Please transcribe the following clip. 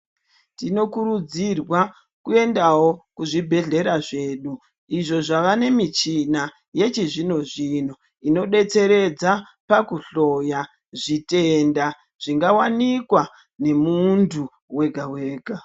Tinokurudzirwa kuendawo kuzvibhedhlera zvedu izvo zvava nemichina yechizvino-zvino inobetseredza pakuhloya zvitenda zvingawanikwa nemuntu wega wega.